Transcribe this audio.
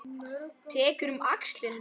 Tekur um axlir hennar.